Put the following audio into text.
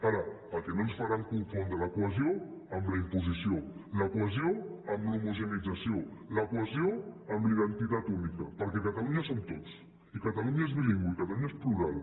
ara el que no ens faran és confondre la cohesió amb la imposició la cohesió amb l’homogeneïtzació la cohesió amb la identitat única perquè catalunya som tots i catalunya és bilingüe i catalunya és plural